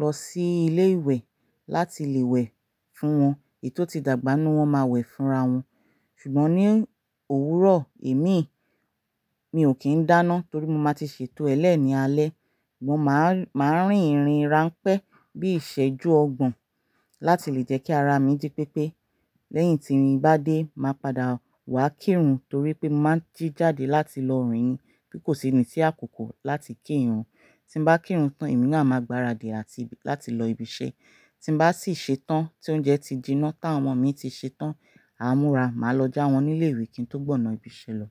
lọ sí ilé ìwẹ̀ láti lè wẹ̀ fún wọn èyi tò tí dàgbà nù wọn máa wẹ̀ fúnra wọn. Ṣùgbọ́n ní òwúrọ̀ e mii, mi ò kí ń dáná torí mo máa ti ṣètò ẹlẹ́ ní alẹ́. Máa ń rìn-ìrìn rán pẹ́ bí ìṣẹ́jú ọgbọ̀n láti lè jẹ́ kí ara mi jí pépé. Lẹ́yìn tí mii bá dé, màá padà wá kírun torí pé mo máa ń jí jáde láti lọ rìn-ìn kí kò síni sí àkókò láti kí ìrun. Tí n bá kírun tán, èmi náà máa gbaradì láti lọ ibi iṣẹ́. Tí n bá sì ṣe tán tí oúnjẹ ti jiná tán ọmọ mi ti ṣe tán, àá múra, màá lọ já wọn nílé ìwé kí n tó gbọ̀nà ibi iṣẹ́ lọ.